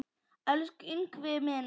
Elsku Ingvi minn.